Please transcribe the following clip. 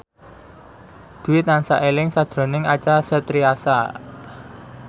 Dwi tansah eling sakjroning Acha Septriasa